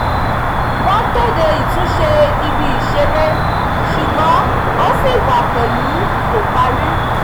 wọ́n kéde ìtúnṣe ibi ìṣeré ṣùgbọ́n ó ṣì wà pẹ̀lú kò parí